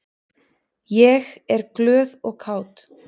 Ég er glöð og kát.